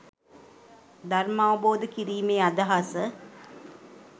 ධර්මාවබෝධ කිරීමේ අදහස